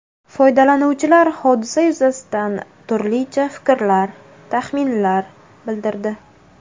Foydalanuvchilar hodisa yuzasidan turlicha fikrlar, taxminlar bildirdi.